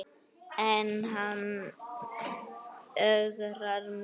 En hann ögrar mér ennþá.